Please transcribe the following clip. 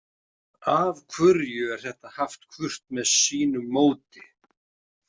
Af hverju er þetta haft hvort með sínu móti?